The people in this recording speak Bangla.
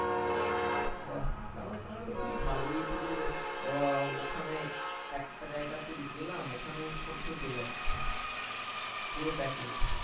বাহ তাহলে তো খুবই ভালো ওই টুকু উহ ওখানেই একটা জায়গা তাই গেলাম ওখানেই আমি সব কিছু পেয়ে যাচ্ছি পুরো package